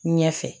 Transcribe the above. Ɲɛ fɛ